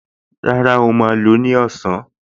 Rárá, ó máa lò ó ní ọ̀sán